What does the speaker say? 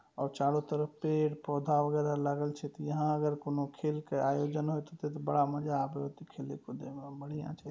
और चारों तरफ पेड़-पौधा उगल हेय लागे छै यहां अगर कोनो खेल के आयोजन होय हेते ते बड़ा मजा आबे होते खेले कूदे में और बढ़िया छै।